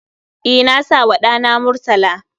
E, na sawa ɗana Murtala